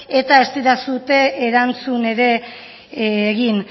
eta ez didazue erantzun ere egin